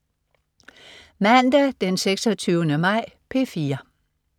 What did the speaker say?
Mandag den 26. maj - P4: